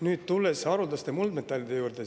Nüüd tulen haruldaste muldmetallide juurde.